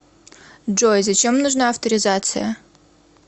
джой зачем нужна авторизация